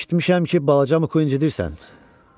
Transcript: Eşitmişəm ki, balaca Muk inə incidirsən?